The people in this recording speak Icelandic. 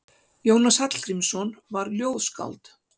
Jónas Hallgrímsson var ljóðskáld.